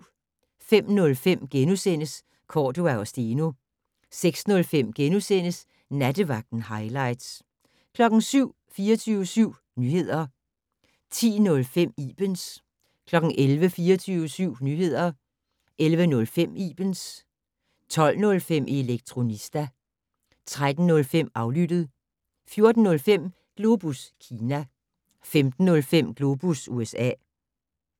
05:05: Cordua & Steno * 06:05: Nattevagten - hightlights * 07:00: 24syv Nyheder 10:05: Ibens 11:00: 24syv Nyheder 11:05: Ibens 12:05: Elektronista 13:05: Aflyttet 14:05: Globus Kina 15:05: Globus USA